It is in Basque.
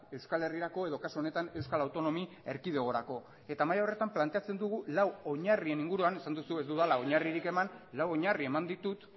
euskal herrirako edo kasu honetan euskal autonomia erkidegorako eta maila horretan planteatzen dugu lau oinarrien inguruan esan duzu ez dudala oinarririk eman lau oinarri eman ditut